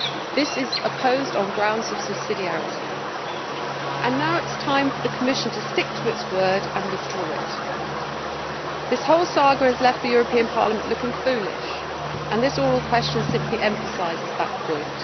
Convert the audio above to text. This is opposed on grounds of subsidiarity, and now it is time for the Commission to stick to its word and withdraw it. This whole saga has left the European Parliament looking foolish and this oral question simply emphasises that point.